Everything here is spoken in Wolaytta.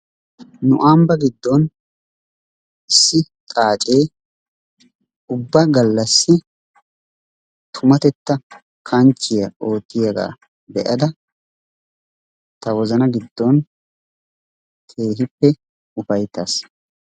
Nu ambba giddon issi xaaccee ubba gallassi tumatetta kanchchiya oottiyagaa be'ada ta wozzana giddon keehiippe ufayttaas.